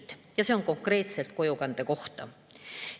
See on öeldud konkreetselt kojukande kohta.